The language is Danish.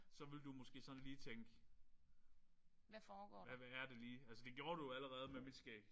Så ville du måske sådan lige tænke hvad er det lige? Altså det gjorde du jo allerede med mit skæg